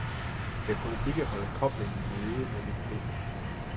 Jeg kunne ikke holde koblingen nede med mit ben.